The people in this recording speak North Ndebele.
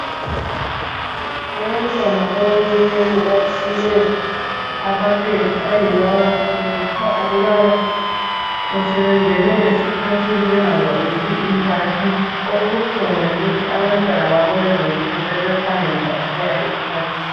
Abantwana abancinyane baphiwe amapads ayiwo abawasebenzisa ukubana sebengena esikhathini benhanhcolisi impahla okubuhlungu yikuba abantwana bakulezi insuku sebe phangisa ukuya esikhathini.